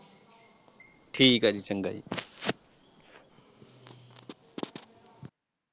ਠੀਕ ਹੈ ਜੀ ਚੰਗਾ ਜੀ।